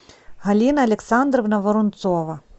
галина александровна воронцова